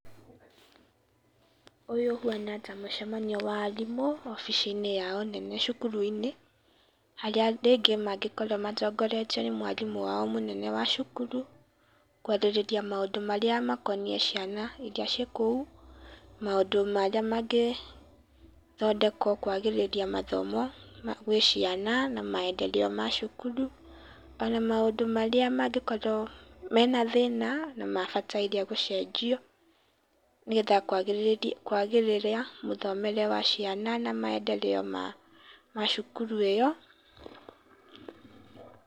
ũyũ ũhana ta mũcemanio wa arimũ, obicinĩ yao nene cukuru-inĩ, harĩa andũ aingĩ mangĩkorwo matongoretio nĩ mwarimũ wao mũnene wa cukuru, gwathĩrĩria maũndũ marĩa makoniĩ ciana ĩria ciĩ kũu, maũndũ marĩa magĩthondekwo kwagĩrithia mathomo gwĩ ciana na maedereo ma cukuru, ona maũndũ marĩa mangĩkorwo mena thĩna na mabataire gũcenjio, nĩgetha kwagĩrithia mũthomere wa ciana na maendereo ma cukuru ĩyo.